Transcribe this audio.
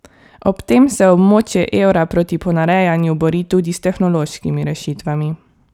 Ob tem se območje evra proti ponarejanju bori tudi s tehnološkimi rešitvami.